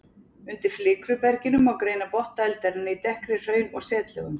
Undir flikruberginu má greina botn dældarinnar í dekkri hraun- og setlögum.